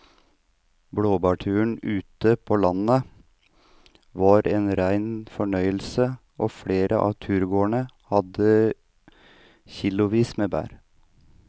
Blåbærturen ute på landet var en rein fornøyelse og flere av turgåerene hadde kilosvis med bær.